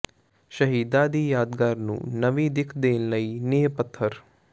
ਸ਼ਹੀਦਾਂ ਦੀ ਯਾਦਗਾਰ ਨੂੰ ਨਵੀਂ ਦਿੱਖ ਦੇਣ ਲਈ ਨੀਂਹ ਪੱਥਰ